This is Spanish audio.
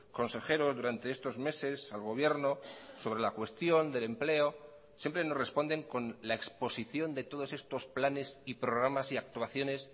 consejeros durante estos meses al gobierno sobre la cuestión del empleo siempre nos responden con la exposición de todos estos planes y programas y actuaciones